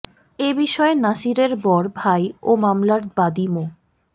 এ বিষয়ে নাসিরের বড় ভাই ও মামলার বাদি মো